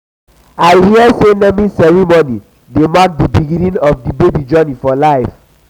i hear sey naming ceremony dey mark di beginning of di baby journey for life.